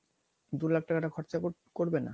দু লাখ টাকাটা খরচা করবে না